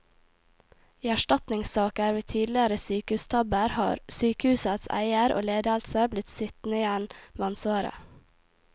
I erstatningssaker ved tidligere sykehustabber har sykehusets eier og ledelse blitt sittende igjen med ansvaret.